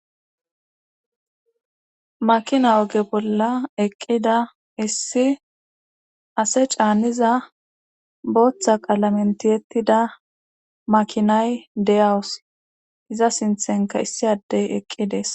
makina oge bolla eqqida issi ase caanniza booththa qaalamen tiyettida makinay deyawus iza sinthenka issi addey eqqidees